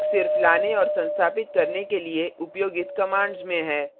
फर्क सिर्फ लाने और संस्थापित करने के लिए उपयोगित कमांड्स में है